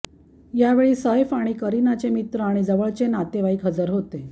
यावेळी सैफ आणि करिनाचे मित्र आणि जवळचे नातेवाईक हजर होते